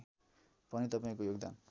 पनि तपाईँको योगदान